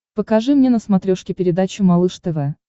покажи мне на смотрешке передачу малыш тв